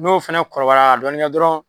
N'o fɛnɛ kɔrɔbayala ka dɔɔni kɛ dɔrɔn